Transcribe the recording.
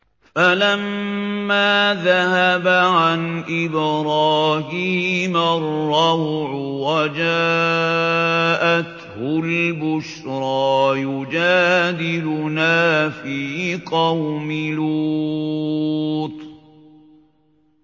فَلَمَّا ذَهَبَ عَنْ إِبْرَاهِيمَ الرَّوْعُ وَجَاءَتْهُ الْبُشْرَىٰ يُجَادِلُنَا فِي قَوْمِ لُوطٍ